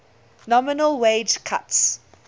nominal wage cuts